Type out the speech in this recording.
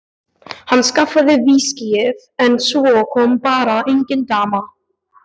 Hann skaffaði viskíið en svo kom bara engin dama.